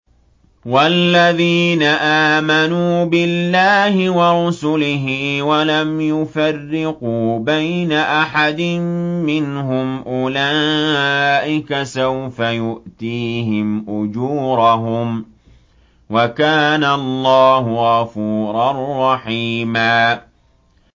وَالَّذِينَ آمَنُوا بِاللَّهِ وَرُسُلِهِ وَلَمْ يُفَرِّقُوا بَيْنَ أَحَدٍ مِّنْهُمْ أُولَٰئِكَ سَوْفَ يُؤْتِيهِمْ أُجُورَهُمْ ۗ وَكَانَ اللَّهُ غَفُورًا رَّحِيمًا